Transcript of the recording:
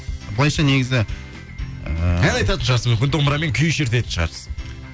былайша негізі ыыы ән айтатын шығарсыз мүмкін домбырамен күй шертетін шығарсыз